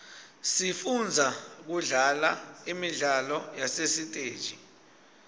sifundza kudlala imidlalo yasesiteji